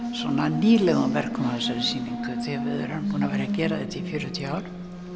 nýlegum verkum á þessari sýningu því við erum búin að vera að gera þetta í fjörutíu ár